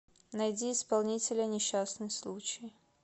найди исполнителя несчастный случай